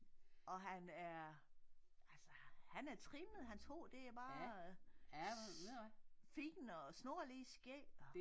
Og han er altså han er trimmet hans hår det er bare fint og snorlige skæg og